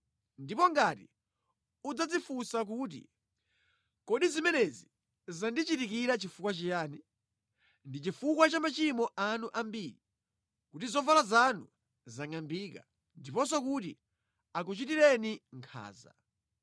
Ndipo ngati udzadzifunsa kuti, “Kodi zimenezi zandichitikira chifukwa chiyani?” Ndi chifukwa cha machimo anu ambiri kuti zovala zanu zingʼambike ndiponso kuti akuchitireni nkhanza.